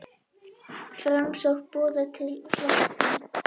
Framsókn boðar til flokksþings